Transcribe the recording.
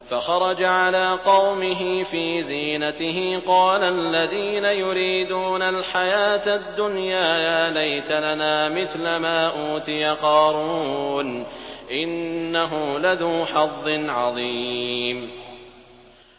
فَخَرَجَ عَلَىٰ قَوْمِهِ فِي زِينَتِهِ ۖ قَالَ الَّذِينَ يُرِيدُونَ الْحَيَاةَ الدُّنْيَا يَا لَيْتَ لَنَا مِثْلَ مَا أُوتِيَ قَارُونُ إِنَّهُ لَذُو حَظٍّ عَظِيمٍ